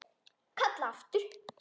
Kalla aftur.